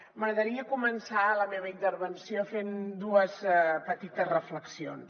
m’agradaria començar la meva intervenció fent dues petites reflexions